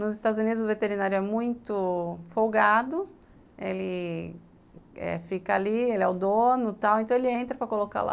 Nos Estados Unidos, o veterinário é muito folgado, ele fica ali eh, ele é o dono e tal, então ele entra para colocar lá